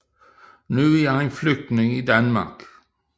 Nu er han flygtning i Danmark